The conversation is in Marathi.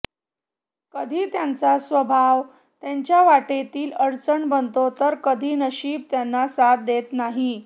कधी त्यांचा स्वभाव त्यांच्या वाटेतील अडचण बनतो तर कधी नशीब त्यांना साथ देत नाही